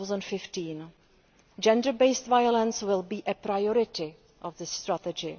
2015. Gender based violence will be a priority of this strategy.